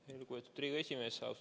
Aitäh, lugupeetud Riigikogu esimees!